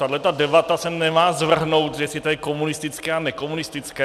Tahleta debata se nemá zvrhnout, jestli to je komunistické a nekomunistické.